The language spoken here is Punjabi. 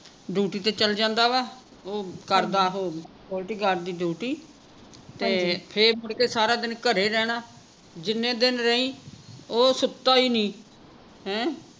ਡਿਊਟੀ ਤੇ ਚੱਲ ਜਾਂਦਾ ਵਾ ਉਹ ਕਰਦਾ ਓਹੋ security guard ਦੀ ਡਿਊਟੀ ਤੇ ਫੇਰ ਮੁੜਕੇ ਸਾਰਾ ਦੀ ਘਰੇ ਰਹਿਣਾ ਜਿੰਨੇ ਦਿਨ ਰਹੀ ਉਹ ਸੁੱਤਾ ਹੀ ਨਹੀਂ ਹੈਂ